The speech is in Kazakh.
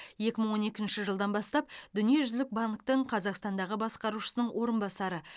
екі мың он екінші жылдан бастап дүниежүзілік банктің қазақстандағы басқарушысының орынбасары